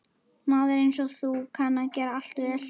Maður einsog þú kann að gera allt vel.